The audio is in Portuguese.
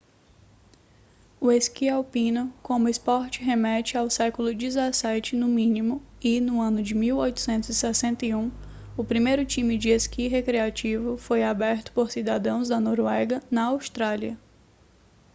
o esqui alpino como esporte remete ao século 17 no mínimo e no ano de 1861 o primeiro time de esqui recreativo foi aberto por cidadãos da noruega na austrália